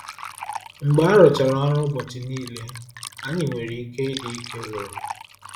Mgbe arụchara ọrụ ụbọchị niile, anyị nwere ike ịdị ike gwụrụ.